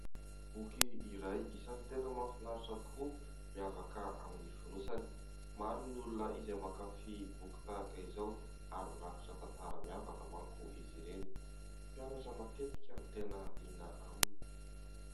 Boky iray isan'ny tena mahafinaritra tokoa, miavaka amin'ny fonosany. Maro ny olona izay mankafia boky tahaka izao ary mirakitra tantara miavaka mantsy izy ireny, mpianatra matetika no tena liana aminy.